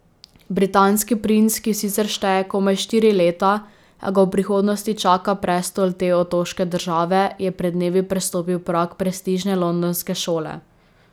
Britanski princ, ki sicer šteje komaj štiri leta, a ga v prihodnosti čaka prestol te otoške države, je pred dnevi prestopil prag prestižne londonske šole.